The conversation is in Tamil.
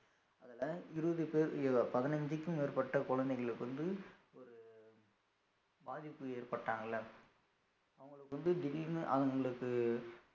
அதுல இருவது பேர் புதினஞ்சுக்கு மேற்பட்ட குழந்தைகளுக்கு வந்து ஒரு பாதிப்பு ஏற்பட்டாங்கல்ல அவங்களுக்கு வந்து திடீர்ன்னு அவங்களுக்கு